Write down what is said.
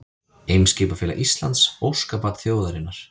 Eimskipafélag Íslands, óskabarn þjóðarinnar